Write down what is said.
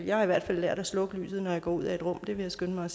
jeg har i hvert fald lært at slukke lyset når jeg går ud af et rum vil jeg skynde mig